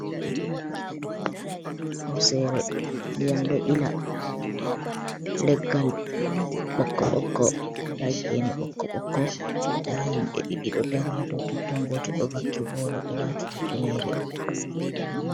Hosere ndiyam ɗo ila leggal ɓokko ɓokko nda gene ɓokko ɓokko nda himɓɓe ɗiɗi ɗo dari ha dou totton, goto ɗo vakki boro ɗo wati hufnere.